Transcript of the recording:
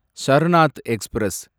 Sarnath express